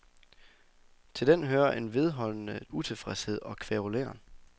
Til den hører en vedholdende utilfredshed og kværuleren.